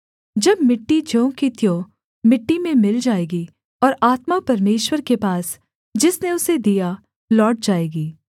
जब मिट्टी ज्यों की त्यों मिट्टी में मिल जाएगी और आत्मा परमेश्वर के पास जिसने उसे दिया लौट जाएगी